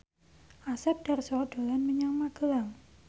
Asep Darso dolan menyang Magelang